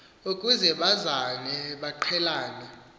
ukuze bazane baqhelane